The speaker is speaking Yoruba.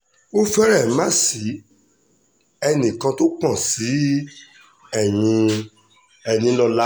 ó fẹ́rẹ̀ má ṣi èèyàn kan tó pọ̀n sí ẹ̀yin enílọ́lá